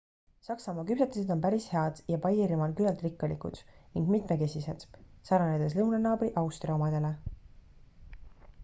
saksamaa küpsetised on päris head ja baierimaal küllalt rikkalikud ning mitmekesised sarnanedes lõunanaabri austria omadele